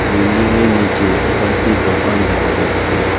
বিল্ডিংয়ের নীচে কয়েকটি দোকান দেখা যাচ্ছে।